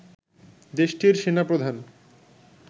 দেশটির সেনা প্রধান